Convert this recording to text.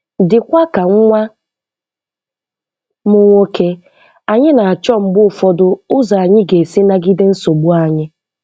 Dịkwa ka nwa m nwoke, anyị na-achọ mgbe ụfọdụ ụzọ anyị ga-esi nagide nsogbu anyị.